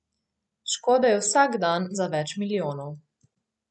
Škode je vsak dan za več milijonov.